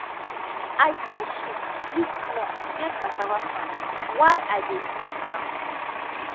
i tie sheep loosesmall near cassava farm while i dey weed ground